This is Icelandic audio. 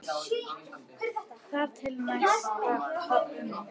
Þar til næst, pabbi minn.